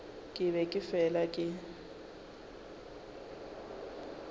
ke be ke fela ke